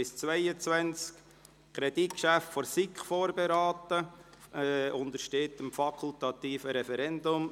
Dieses Kreditgeschäft wurde von der SiK vorberaten, und es untersteht dem fakultativen Referendum.